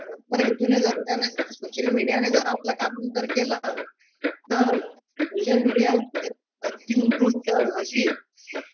सोशलमीडियाने जर आपलं काम नंतर केल तर सोशल मीडिया अति उत्कृष्ट अशी